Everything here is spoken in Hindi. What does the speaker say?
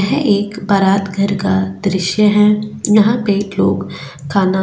यह एक बारात घर का दृस्य है यहाँ पे एक लोग खाना --